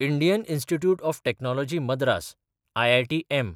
Indian institute of technology Madras (IITM)